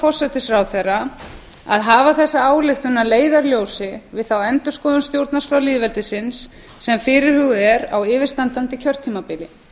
forsætisráðherra að hafa þessa ályktun að leiðarljósi við þá endurskoðun stjórnarskrár lýðveldisins sem fyrirhuguð er á yfirstandandi kjörtímabili